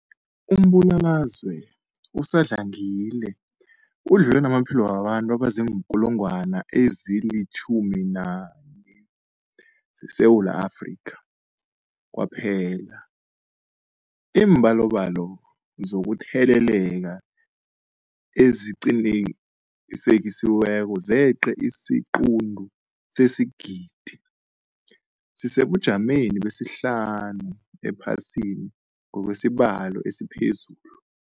Umbulalazwe usadlangile udlule namaphilo wabantu abaziinkulungwana ezi-11 ngeSewula Afrika kwaphela. Iimbalobalo zokutheleleka eziqinisekisiweko zeqe isiquntu sesigidi, sisesebujameni besihlanu ephasini ngokwesibalo esiphezulu.